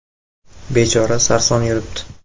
Bechora sarson yuribdi.